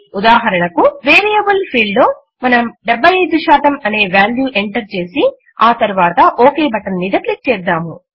ఉదాహరణకు variable field లో మనము 75 అనే వాల్యూ ఎంటర్ చేసి ఆ తరువాత ఒక్ బటన్ మీద క్లిక్ చేద్దాము